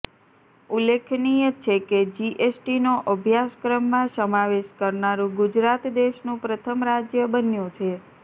ઉલ્લેખનીય છે કે જીએસટીનો અભ્યાસક્રમમાં સમાવેશ કરનારું ગુજરાત દેશનું પ્રથમ રાજ્ય બન્યું છે